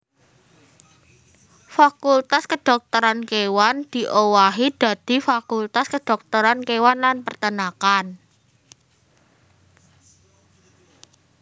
Fakultas Kedhokteran Kéwan diowahi dadi Fakultas Kedhokteran Kéwan lan Peternakan